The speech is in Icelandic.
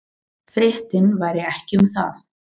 Fréttin væri ekki um það.